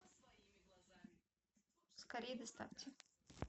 скорей доставьте